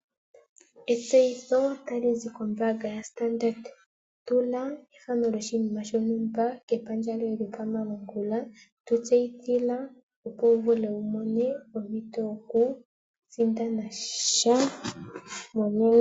Etseyitho tali zi kombaanga yoStandard, tuma ethano lyoshinima shontumba kepandja lyoye lyokomalungula tu tseyithila opo u vule wumone ompito yokusindana sha